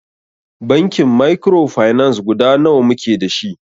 Bankin mikrofinance guda nawa muke dashi?